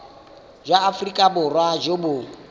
jwa aforika borwa jo bo